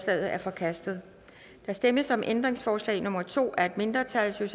er forkastet der stemmes om ændringsforslag nummer to af et mindretal